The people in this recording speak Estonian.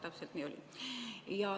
Täpselt nii ka oli.